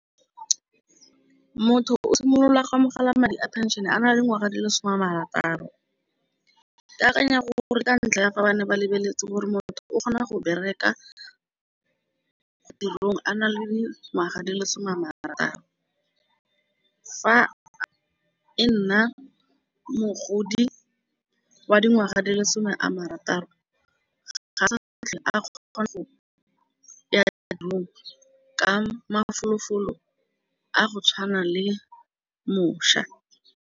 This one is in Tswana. Motho o simolola go amogela madi a pension a na le dingwaga di lesome a marataro. Ke akanya gore ka ntlha ya fa bane ba lebeletse gore motho o kgona go bereka tirong a na le dingwaga di lesome a marataro. Fa e nna mogodi wa dingwaga di lesome a marataro ga ba sa batle a kgona go ya ko tirong ka mafolofolo a go tshwana le mošwa.